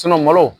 malo